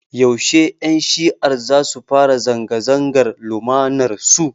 Yaushe Ƴan shi'ar zasu fara zanga-zangar lumanar su?